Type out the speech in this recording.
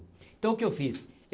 Então o que eu fiz?